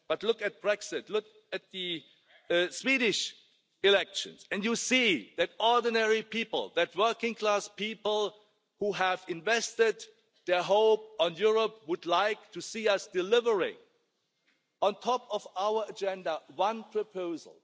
on that. But look at Brexit, look at the Swedish elections, and you see that ordinary working class people, who have invested their hope in Europe, would like to see us delivering, at the top of our agenda, one specific